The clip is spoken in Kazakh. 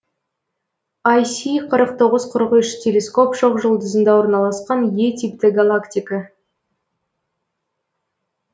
айси қырық тоғыз қырық үш телескоп шоқжұлдызында орналасқан е типті галактика